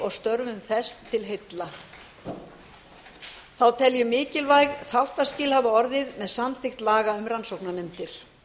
og störfum eins til heilla þá tel ég mikilvæg þáttaskil hafa orðið með samþykkt laga um rannsóknarnefndir